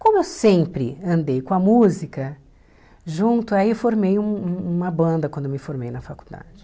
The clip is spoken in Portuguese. Como eu sempre andei com a música junto, aí formei um uma banda quando me formei na faculdade.